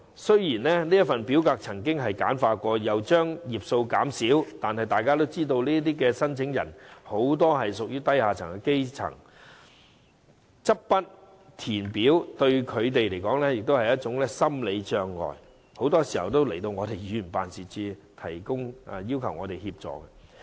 雖然這份表格已經簡化，頁數亦已減少，但大家也知道，這些申請人多屬低下階層，執筆填表，對他們來說是一種心理障礙，他們很多時候也會到議員辦事處求助。